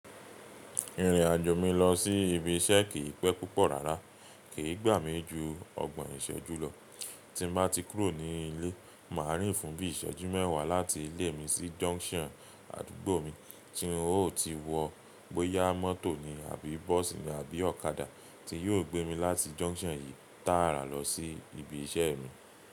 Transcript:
Ìrìn àjò mi lọ sí ibi iṣẹ́ kì pẹ́ púpọ̀ rárá, kì gba mi jù ọgbọ̀n iṣẹ́ jù lọ. Tí n bá ti kúrò ni ilé, ma rìn fún bíi ìṣẹ́jú mewa láti ilé mi sí junction àdúgbò mi, tí n o ti wò bóyá mọ́tò ni àbí bos ni àbí ọ̀kadà ti yo gbé mi láti junction yí tààrà lọ sí ibi iṣẹ́ mi.